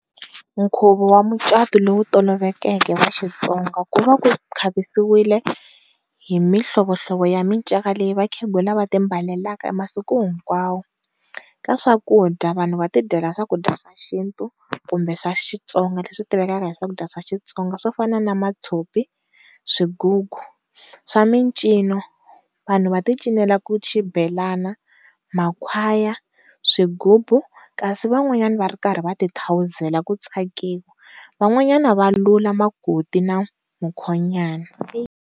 Nkhuvo wa mucatu lowu tolovelekeke wa Xitsonga ku va ku khavisiwile hi mi hlovo hlovo ya miceka leyi vakhegula va timbalelaka masiku hinkwawo, ka swakudya vanhu va tidyela swakudya swa xintu kumbe xa Xitsonga. Lexi xitivekaka hi swakudya swa Xitsonga swo fana na mathopi, swigugu swa mincino vanhu va ti cinela xibelana, makhwaya, swigubu kasi van'wanyana va ri karhi va ti thawuzela ku tsakiwa van'wanyana va lula makoti na mukhonyana.